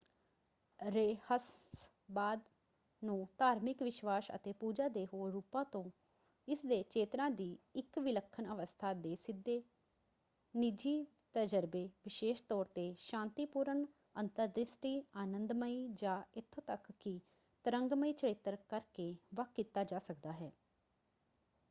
ਰਹੱਸਵਾਦ ਨੂੰ ਧਾਰਮਿਕ ਵਿਸ਼ਵਾਸ਼ ਅਤੇ ਪੂਜਾ ਦੇ ਹੋਰ ਰੂਪਾਂ ਤੋਂ ਇਸਦੇ ਚੇਤਨਾ ਦੀ ਇੱਕ ਵਿਲੱਖਣ ਅਵਸਥਾ ਦੇ ਸਿੱਧੇ ਨਿੱਜੀ ਤਜਰਬੇ ਵਿਸ਼ੇਸ਼ ਤੌਰ 'ਤੇ ਸ਼ਾਂਤੀਪੂਰਨ ਅੰਤਰਦ੍ਰਿਸ਼ਟੀ ਆਨੰਦਮਈ ਜਾਂ ਇੱਥੋਂ ਤੱਕ ਕਿ ਤਰੰਗਮਈ ਚਰਿੱਤਰ ਕਰਕੇ ਵੱਖ ਕੀਤਾ ਜਾ ਸਕਦਾ ਹੈ।